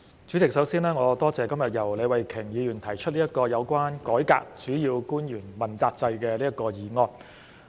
主席，首先，我感謝李慧琼議員今天提出這項"改革主要官員問責制"議案。